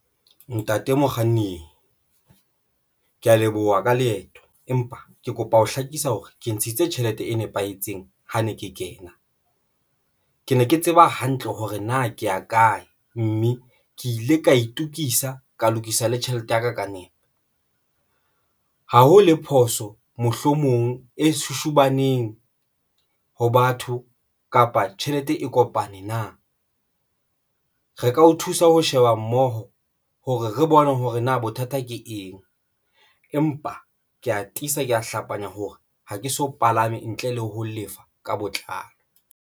Ntate mokganni ke ya leboha ka leeto empa ke kopa ho hlakisa hore ke ntshitse tjhelete e nepahetseng ha ne ke kena, ke ne ke tseba hantle hore na ke ya kae, mme ke ile ka itokisa ka lokisa le tjhelete ya ka ka nepo. Ha ho le phoso mohlomong e shushubaneng ho batho kapa tjhelete e kopane na re ka o thusa ho sheba mmoho hore re bone hore na bothata ke eng? Empa ke ya tiisa ka hlapanya hore ha ke so palame ntle le ho lefa ka botlalo.